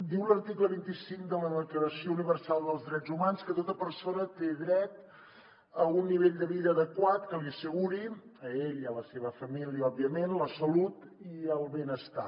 diu l’article vint cinc de la declaració universal dels drets humans que tota persona té dret a un nivell de vida adequat que li asseguri a ell i a la seva família òbviament la salut i el benestar